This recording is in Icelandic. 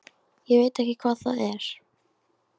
Ég veit ekki hvað það var.